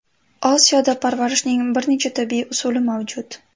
Osiyoda parvarishning bir necha tabiiy usuli mavjud.